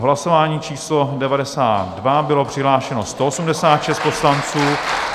V hlasování číslo 92 bylo přihlášeno 186 poslanců...